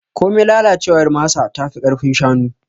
Komai lalacewar masa tafi ƙarfin kashin shanu.